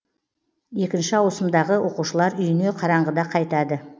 екінші ауысымдағы оқушылар үйіне қараңғыда қайтады